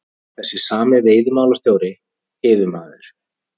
Þessi sami veiðimálastjóri, yfirmaður